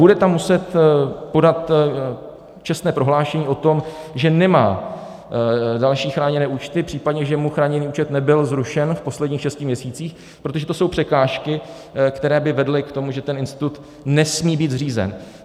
Bude tam muset podat čestné prohlášení o tom, že nemá další chráněné účty, případně že mu chráněný účet nebyl zrušen v posledních šesti měsících, protože to jsou překážky, které by vedly k tomu, že ten institut nesmí být zřízen.